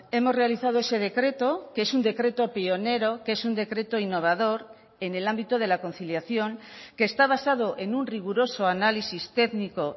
hemos realizado ese decreto que es un decreto pionero que es un decreto innovador en el ámbito de la conciliación que está basado en un riguroso análisis técnico